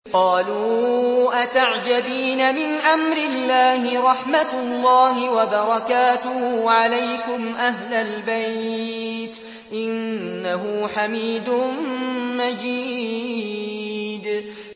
قَالُوا أَتَعْجَبِينَ مِنْ أَمْرِ اللَّهِ ۖ رَحْمَتُ اللَّهِ وَبَرَكَاتُهُ عَلَيْكُمْ أَهْلَ الْبَيْتِ ۚ إِنَّهُ حَمِيدٌ مَّجِيدٌ